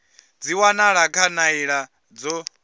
dzi wanala kha nḓila dzo